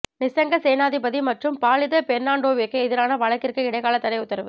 நிசங்க சேனாதிபதி மற்றும் பாலித பெர்னாண்டோவிற்கு எதிரான வழக்கிற்கு இடைக்கால தடை உத்தரவு